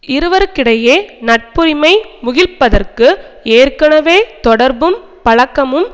இருவருக்கிடையே நட்புரிமை முகிழ்ப்பதற்கு ஏற்கனவே தொடர்பும் பழக்கமும்